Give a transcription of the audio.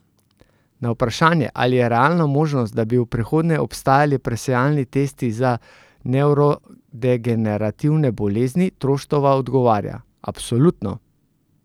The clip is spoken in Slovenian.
Na vprašanje, ali je realna možnost, da bi v prihodnje obstajali presejalni testi za nevrodegenerativne bolezni, Troštova odgovarja: 'Absolutno.